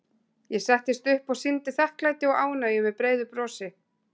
Ég settist upp og sýndi þakklæti og ánægju með breiðu brosi.